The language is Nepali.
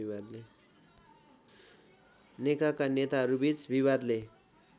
नेकाका नेताहरूबीच विवादले